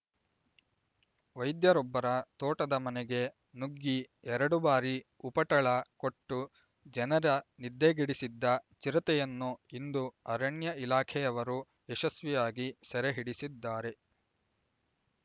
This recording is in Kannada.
ವೈದ್ಯರೊಬ್ಬರ ತೋಟದ ಮನೆಗೆ ನುಗ್ಗಿ ಎರಡು ಬಾರಿ ಉಪಟಳ ಕೊಟ್ಟು ಜನರ ನಿದ್ದೆಗೆಡಿಸಿದ್ದ ಚಿರತೆಯನ್ನು ಇಂದು ಅರಣ್ಯ ಇಲಾಖೆಯವರು ಯಶಸ್ವಿಯಾಗಿ ಸೆರೆಹಿಡಿಸಿದ್ದಾರೆ